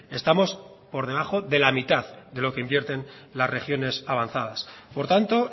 estamos por debajo de la mitad de lo que invierten las regiones avanzadas por tanto